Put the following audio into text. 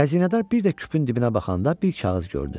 Xəzinədar bir də küpün dibinə baxanda bir kağız gördü.